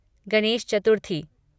Ganesh Chaturthi